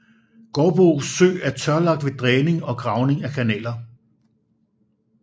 Gårdbo Sø er tørlagt ved dræning og gravning af kanaler